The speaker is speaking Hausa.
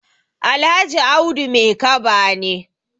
Alhaji Audu Maikaba ne.